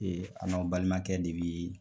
Ee an' balimakɛ de be ye